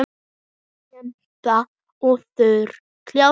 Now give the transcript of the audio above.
Kempa og Þróun kljást.